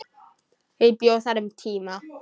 Ég bjó þar um tíma.